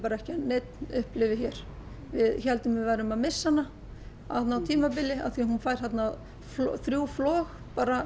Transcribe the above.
ekki að neinn upplifi hér við héldum að við værum að missa hana á tímabili af því hún fékk þrjú flog